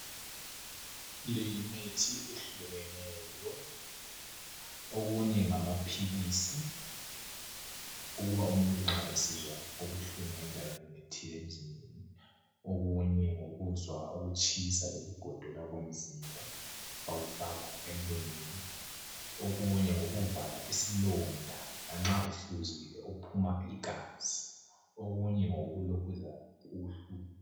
Le yimithi ehlukeneyo okunye ngama philisi okuba umuntu nxa esizwa ubuhlungu endaweni ethile emzimbeni okunye ngokokuzwa ukutshisa lokugodola komzimba bakufaka emlonyeni, okunye ngokokuvala isilonda nxa uhluzukile uphuma igazi okunye ngokokulokhuza ubuhlungu.